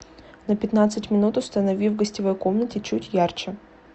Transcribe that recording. на пятнадцать минут установи в гостевой комнате чуть ярче